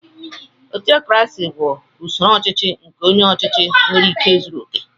Ọtọkrasị bụ usoro ọchịchị nke onye ọchịchị nwere ike zuru okè.